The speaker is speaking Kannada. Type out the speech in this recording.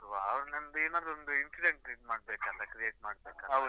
ಅವನೊಂದು ಏನಾದ್ರೂ ಒಂದು incident , create ಮಾಡಬೇಕ್ ಅಲ್ಲಾ, create ಮಾಡ್ಬೇಕಲ್ಲಾ?